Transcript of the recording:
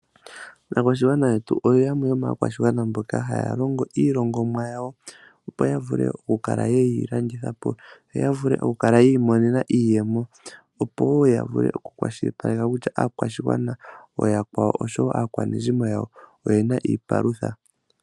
Aakwashigwana yetu oyo yamwe yomaakwashigwana mboka haya longo iilongomwa yawo opo ya vule okukala yeyi landitha po yoya vule oku kala yiimonene mo iiyemo. Opo ya vule oku kwashilipaleke kutya aakwashigwana ooyakwawo oshowo aakwanezimo oyena iipalutha.